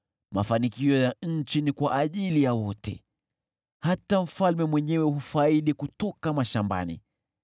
Mafanikio ya nchi ni kwa ajili ya wote, hata mfalme mwenyewe hufaidi kutoka mashambani.